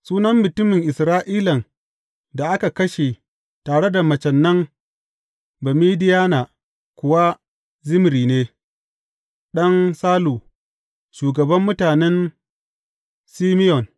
Sunan mutumin Isra’ilan da aka kashe tare da macen nan Bamidiyana kuwa Zimri ne, ɗan Salu, shugaban mutanen Simeyon.